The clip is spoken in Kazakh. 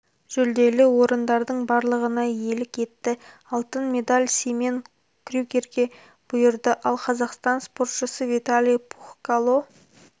жүлделі орындардың барлығына иелік етті алтын медаль симен крюгерге бұйырды ал қазақстан спортшысы виталий пухкало